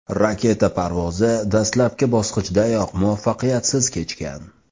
Raketa parvozi dastlabki bosqichdayoq muvaffaqiyatsiz kechgan.